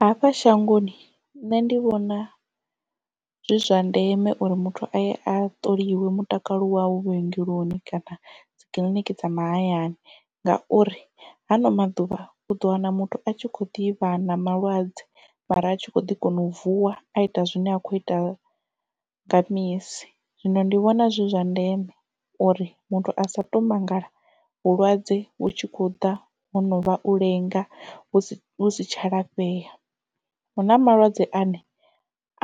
Hafha shangoni nṋe ndi vhona zwi zwa ndeme uri muthu aye a ṱoliwa mutakalo wau vhuongeloni kana dzikiḽiniki dza mahayani ngauri ha ano maḓuvha u ḓo wana muthu a tshi kho ḓivha na malwadze mara a tshi kho ḓi kona u vuwa a ita zwine a khou ita nga misi zwino ndi vhona zwi zwa ndeme uri muthu a sa tou mangala vhulwadze vhu tshi kho ḓa ho no vha u lenga hu si tsha lafhea hu na malwadze ane